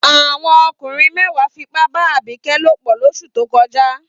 Àwọn ọkùnrin mẹ́wàá fipá bá Abike lòpọ̀ lóṣù tó kọjá.